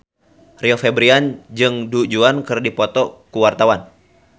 Rio Febrian jeung Du Juan keur dipoto ku wartawan